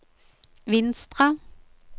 Vinstra